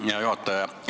Hea juhataja!